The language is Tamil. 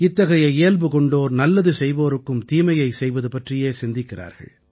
இத்தகைய இயல்பு கொண்டோர் நல்லது செய்வோருக்கும் தீமையை செய்வது பற்றியே சிந்திக்கிறார்கள்